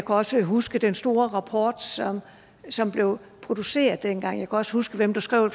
også huske den store rapport som som blev produceret dengang og også huske hvem der skrev